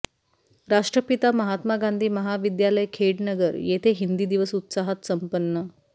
राष्ट्रपिता महात्मा गांधी महाविद्यालय खेडनगर येथे हिंदी दिवस उत्साहात सम्पन्न